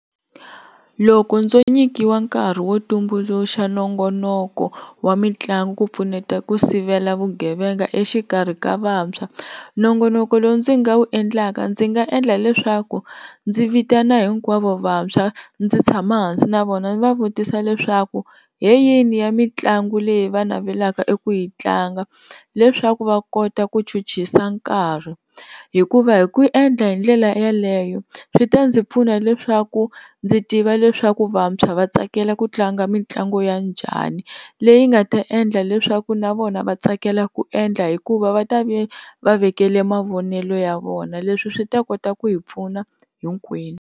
Loko ndzo nyikiwa nkarhi wo tumbuluxa nongonoko wa mitlangu ku pfuneta ku sivela vugevenga exikarhi ka vantshwa nongonoko lo ndzi nga wu endlaka ndzi nga endla leswaku ndzi vitana hinkwavo vantshwa ndzi tshama hansi na vona ndzi va vutisa leswaku hi yini ya mitlangu leyi va navelaka eku yi tlanga leswaku va kota ku chuchisa nkarhi hikuva hi ku endla hi ndlela yeleyo swi ta ndzi pfuna leswaku ndzi tiva leswaku vantshwa va tsakela ku tlanga mitlangu ya njhani leyi nga ta endla leswaku na vona va tsakela ku endla hikuva va ta va va vekele mavonelo ya vona leswi swi ta kota ku hi pfuna hinkwenu.